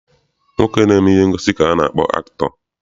Nwoke na-eme ihe ngosi ka a na-akpọ akịtọ.